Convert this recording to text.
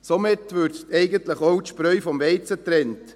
Somit würde eigentlich auch die Spreu vom Weizen getrennt.